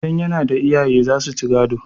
idan yana da iyaye za su ci gado